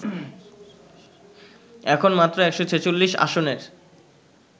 এখন মাত্র ১৪৬ আসনের